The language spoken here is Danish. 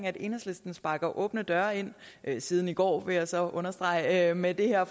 at enhedslisten sparker åbne døre ind siden i går vil jeg så understrege med det her